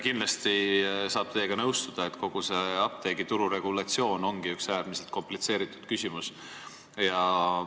Kindlasti saab teiega nõustuda, et kogu see apteegituru regulatsioon ongi üks äärmiselt komplitseeritud küsimus.